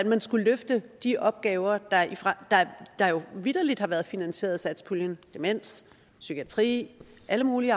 man skulle løfte de opgaver der jo vitterlig har været finansieret af satspuljen demens psykiatri og alt muligt